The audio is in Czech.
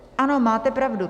Ano, máte pravdu.